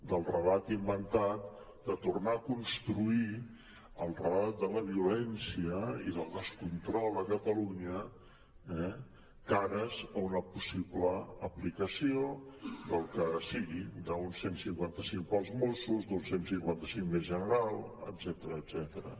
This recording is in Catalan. del relat in·ventat de tornar a construir el relat de la violència i del descontrol a catalunya eh cara a una possible aplicació del que sigui d’un cent i cinquanta cinc per als mossos d’un cent i cinquanta cinc més general etcètera